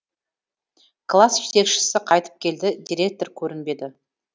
класс жетекшісі қайтып келді директор көрінбеді